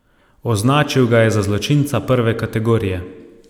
Označil ga je za zločinca prve kategorije.